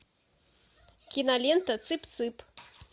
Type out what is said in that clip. кинолента цып цып